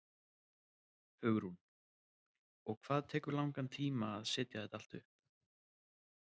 Hugrún: Og hvað tekur langan tíma að setja þetta allt upp?